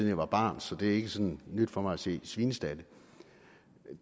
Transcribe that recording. jeg var barn så det er ikke sådan nyt for mig at se svinestalde